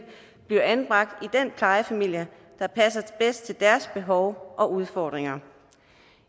bliver anbragt i den plejefamilie der passer bedst til deres behov og udfordringer